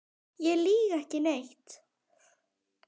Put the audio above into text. Ég lýg ekki neitt.